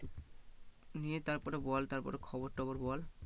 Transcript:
নিয়ে তারপরে বল তারপরে খবর টবর বল